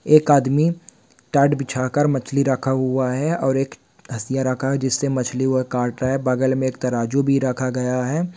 एक आदमी टाट बिछा कर मछली रखा हुआ है और एक हसिया रखा हुआ है जिससे मछली वह काट रहा है बगल में एक तराजू भी रखा गया है।